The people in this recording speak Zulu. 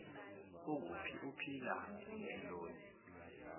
ukuphi uphila mpiloni